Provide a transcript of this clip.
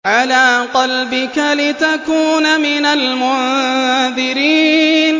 عَلَىٰ قَلْبِكَ لِتَكُونَ مِنَ الْمُنذِرِينَ